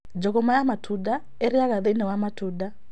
Njũgũma ya matunda ĩrĩaga thĩinĩ wa matunda